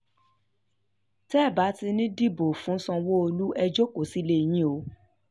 cc olomini um kìlọ̀ fáwọn ibo l tẹ́ ò bá ti ní í dìbò fún sanwó-olú ẹ̀ jókòó sílé um yín o